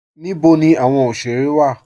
Níbò ní awọn oṣere wa?